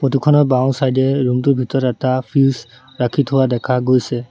Photo খনৰ বাওঁ side এ ৰুম টোৰ ভিতৰত এটা ফ্ৰিজ ৰাখি থোৱা দেখা গৈছে।